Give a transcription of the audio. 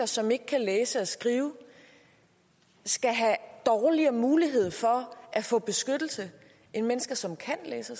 som ikke kan læse og skrive skal have dårligere mulighed for at få beskyttelse end mennesker som kan læse